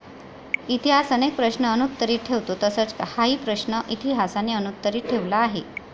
इतिहास अनेक प्रश्न अनुत्तरीत ठेवतो तसच हाही प्रश्न इतिहासाने अनुत्तरीत ठेवला आहे.